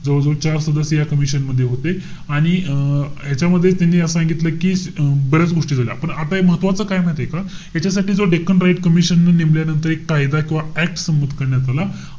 जवळजवळ चार सदस्य या commission मध्ये होते. आणि अं ह्याच्यामध्ये त्यांनी असं सांगितलं कि अं बऱ्याच गोष्टी झाल्या. पण आता हे महत्वाचं काय माहितीय का? याच्यासाठी जो डेक्कन रायट्स कमिशननं नेमल्यानंतर एक कायदा किंवा act संमत करण्यात आला.